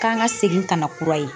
K'an ka segin ka na kura ye.